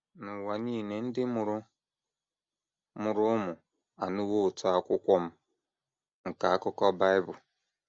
N’ụwa nile ndị mụrụ mụrụ ụmụ anụwo ụtọ Akwukwọm nke Akukọ Bible.